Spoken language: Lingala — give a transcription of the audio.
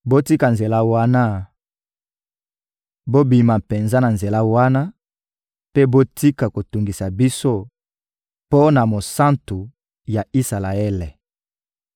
Botika nzela wana, bobima penza na nzela wana mpe botika kotungisa biso mpo na Mosantu ya Isalaele!»